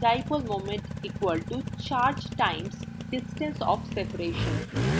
dipole moment μ = charge q times distance of separation r